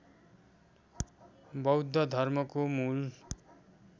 बौद्ध धर्मको मूल